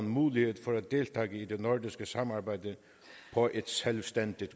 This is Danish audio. mulighed for at deltage i det nordiske samarbejde på et selvstændigt